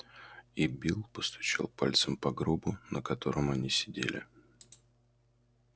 и билл постучал пальцем по гробу на котором они сидели